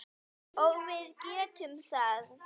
Og við getum það.